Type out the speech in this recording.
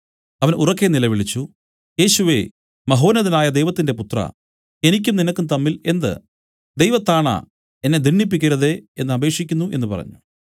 അവൻ ഉറക്കെ നിലവിളിച്ചു യേശുവേ മഹോന്നതനായ ദൈവത്തിന്റെ പുത്രാ എനിക്കും നിനക്കും തമ്മിൽ എന്ത് ദൈവത്താണ എന്നെ ദണ്ഡിപ്പിക്കരുതേ എന്നു അപേക്ഷിക്കുന്നു എന്നു പറഞ്ഞു